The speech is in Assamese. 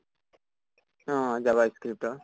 অহ, javascript ৰ